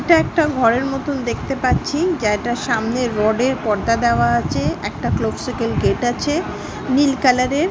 এটা একটা ঘরের মতন দেখতে পাচ্ছি যেইটার সামনে রডের পর্দা দেওয়া আছে একটা ক্লোবসিকেল গেট আছে নীল কালার এর।